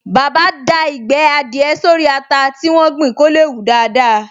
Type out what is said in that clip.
Bàbá da Ìgbẹ́ adìẹ sórí ata tí wọ́n gbìn kó lè hù daádáa